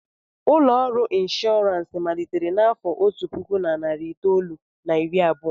Ụlọ ọrụ inshọransị malitere n'afọ otu puku na narị itoolu na iri abụọ.